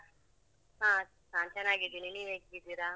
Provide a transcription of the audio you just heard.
ಹಾ ನಾನ್ ಚೆನ್ನಾಗಿದ್ದೇನೆ ನೀವ್ ಹೇಗಿದ್ದೀರಾ?